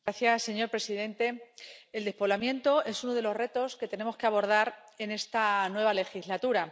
Señor presidente, el despoblamiento es uno de los retos que tenemos que abordar en esta nueva legislatura.